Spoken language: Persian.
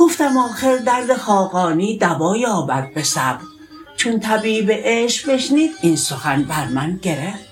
گفتم آخر درد خاقانی دوا یابد به صبر چون طبیب عشق بشنید این سخن بر من گرفت